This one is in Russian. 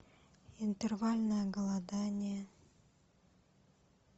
интервальное голодание